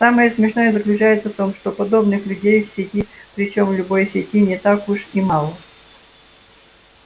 самое смешное заключается в том что подобных людей в сети причём в любой сети не так уж и мало